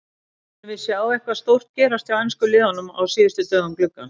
Munum við sjá eitthvað stórt gerast hjá ensku liðunum á síðustu dögum gluggans?